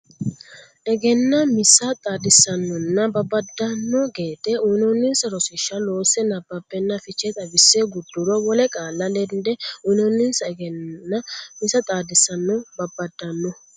Egennaa misa xaadissannonna babbaddanno gede uynoonninsa rosiishsha loose nabbabbenna fiche xawisse gudduro wole qaalla lende uynonsana Egennaa misa xaadissannonna babbaddanno.